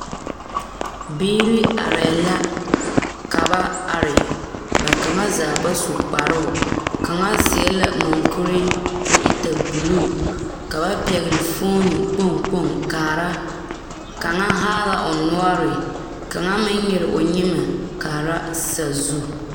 Biiri arɛɛ la ka ba are ba kaŋa zaa ba su kparoo kaŋa seɛ la muŋkuri ko e tɛne buluu ka ba pɛgele foone kpoŋ kpoŋ kaara kaŋa haa la o noɔre kaŋa meŋ nyere o nyemɛ kaara sazu